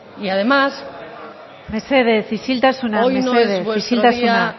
mesedez isiltasuna y además hoy no es vuestro día